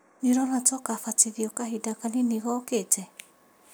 Nĩũrona ta ũgabatithio kahinda kanini gookĩte?